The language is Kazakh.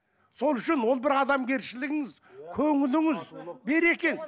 сол үшін ол бір адамгершілігіңіз көңіліңіз берекең